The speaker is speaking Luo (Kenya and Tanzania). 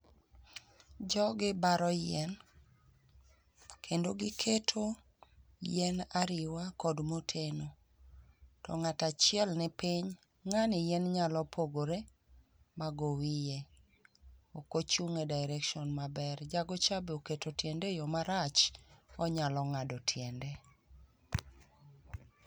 Jogi baro yien kendo giketo yien ariwa kod moteno. To ng'ato achiel nipiny, ng'ani yien nyalo pogore mago wiye, ok ochung' e direction maber. Jagocha be oketo tiende eyo marach, onyalo ng'ado tiende.